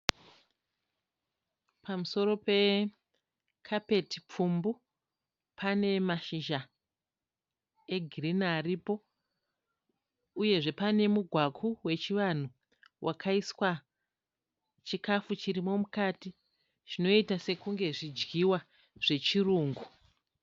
Pamusoro pekapeti pfumbu panemashizha egirini aripo uyezve pane mugwaku wechivanhu wakaiswa chikafu chirimo mukati zvinoita sekunge zvidyiwa zvechirungu.